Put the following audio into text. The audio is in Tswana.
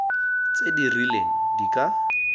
tse di rileng di ka